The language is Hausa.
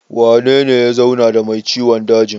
Wanene ya zauna da mai ciwon dajin?